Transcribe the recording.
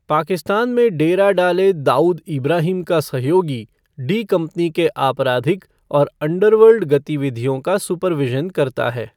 पाकिस्तान में डेरा डाले दाऊद ईब्राहिम का सहयोगी डी कंपनी के आपराधिक और अंडरवर्ल्ड गतिविधियों का सूपरविशन करता है।